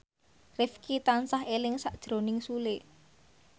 Rifqi tansah eling sakjroning Sule